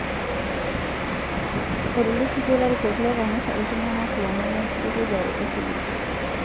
Eitolikitio lairikok le kanisa ltung'ana lomon lenkitukujare osiligi